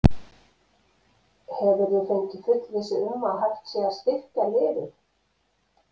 Hefurðu fengið fullvissu um að hægt sé að styrkja liðið?